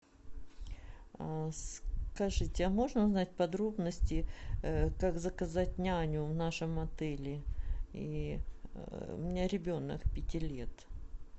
скажите а можно узнать подробности как заказать няню в нашем отеле и у меня ребенок пяти лет